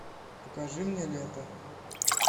покажи мне лето